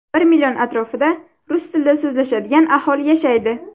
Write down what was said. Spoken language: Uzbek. Bir million atrofida rus tilida so‘zlashadigan aholi yashaydi.